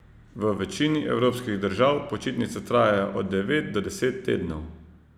V večini evropskih držav počitnice trajajo od devet do deset tednov.